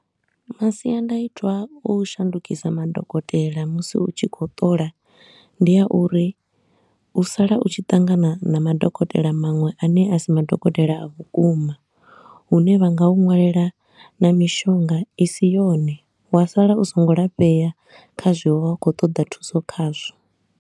Masiandoitwa a u shandukisa madokotela musi u tshi khou ṱola ndi a uri u sala u tshi ṱangana na madokotela maṅwe a ne a si madokotela a vhukuma, hune vha nga u nwalela na mishonga i si yone wa sala u so ngo lafhea kha zwe wa vha u khou ṱoḓa thuso khazwo.